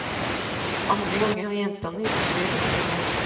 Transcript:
Andre ganger har gjenstandene historier å fortelle.